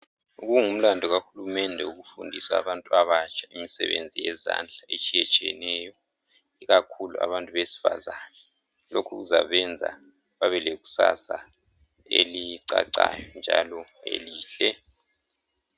Kungumlando kahulumende owokufundisa abantu abatsha imisebenzi yezandla etshiyethsiyeneyo ikakhulu abantu besifazana lokhu kuzabenza babelekusasa elicacayo njalo elihle